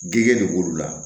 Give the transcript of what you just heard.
Gɛ de b'olu la